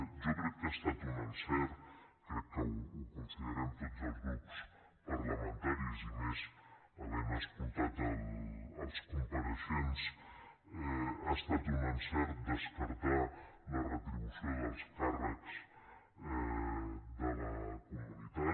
jo crec que ha estat un encert crec que ho considerem tots els grups parlamentaris i més havent escoltat els compareixents descartar la retribució dels càrrecs de la comunitat